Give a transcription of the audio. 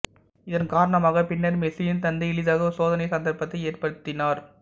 இதன் காரணமாக பின்னர் மெஸ்ஸியின் தந்தை எளிதாக ஒரு சோதனை சந்தர்ப்பத்தை ஏற்படுத்தினார்